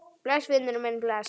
Bless, vinur minn, bless.